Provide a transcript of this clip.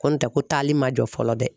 Ko n tɛ ko taali ma jɔ fɔlɔ bɛɛ..